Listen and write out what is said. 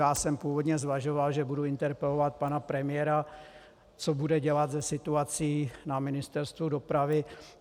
Já jsem původně zvažoval, že budu interpelovat pana premiéra, co bude dělat se situací na Ministerstvu dopravy.